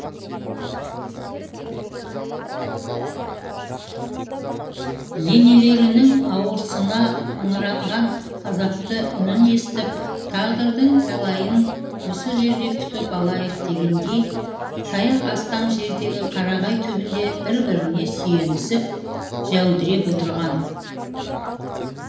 енелерінің ауырсына ыңыранған азапты үнін естіп тағдырдың тәлейін осы жерде күтіп алайық дегендей таяқ тастам жердегі қарағай түбінде бір біріне сүйенісіп жәудіреп отырған